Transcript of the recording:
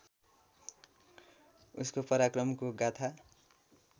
उसको पराक्रमको गाथा